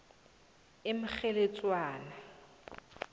emkgheledzwana